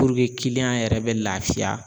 Puruke kiliyan yɛrɛ bɛ lafiya